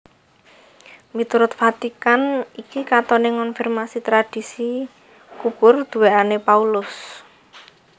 Miturut Vatikan iki katoné ngonfirmasi tradhisi kubur duwèkané Paulus